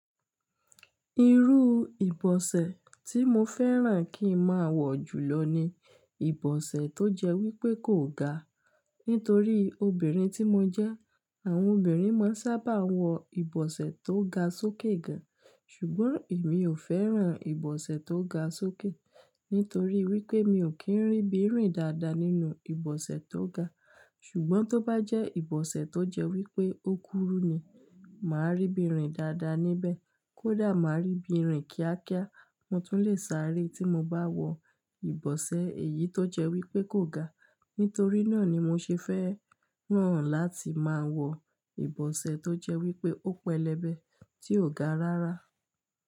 Irú ìbọ̀sẹ̀ tí mo fẹ́ràn kí n máa wọ̀ jùlọ ni ìbọ̀sẹ̀ tó jẹ́ wípé kò ga. Nítorí obìnrin tí mo jẹ́, àwọn obìnrin máa ń sábà wọ ìbọ̀sẹ̀ tó ga sókè gan. Ṣùgbọ́n èmi ò fẹ́ràn ìbọ̀sẹ̀ tó ga sókè, nítorí wípé mi ò kí ń rí bírìn dáadáa nínú ìbọ̀sẹ̀ tó ga. Ṣùgbọ́n tó bá jẹ́ ìbọ̀sẹ̀ tó jẹ́ wípé ó kúrú ni, màá rí ibí rìn dáadáa níbẹ̀. Kódà màá rí bírìn kíákíá, mo tún lè sáré tí mo bá wọ ìbọ̀sẹ̀ èyí tó jẹ́ wípé kò ga. Nítorí náà ni mo ṣe fẹ́ràn láti máa wọ ìbọ̀sẹ̀ tó jẹ́ wípé ó pẹlẹbẹ tí ò ga rárá.